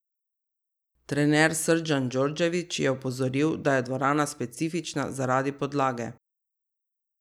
Trener Srdjan Djordjević je opozoril, da je dvorana specifična zaradi podlage.